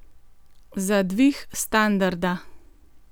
Za dvig standarda?